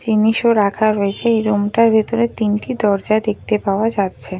জিনিসও রাখা হয়েছে এই রুম টার ভেতরে তিনটি দরজায় দেখতে পাওয়া যাচ্ছে ।